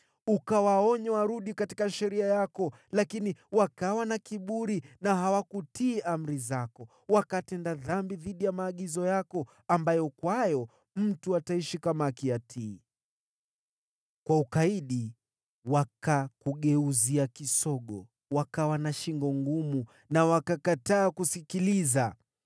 “Ukawaonya warudi katika sheria yako, lakini wakawa na kiburi na hawakutii amri zako. Wakatenda dhambi dhidi ya maagizo yako ambayo kwayo mtu ataishi kama akiyatii. Kwa ukaidi wakakugeuzia kisogo, wakawa na shingo ngumu na wakakataa kusikiliza.